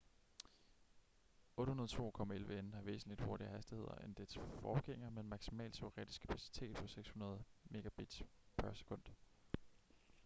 802.11n har væsentligt hurtigere hastigheder end dens forgængere med en maksimal teoretisk kapacitet på 600 mbit/s